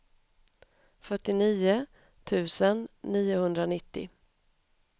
fyrtionio tusen niohundranittio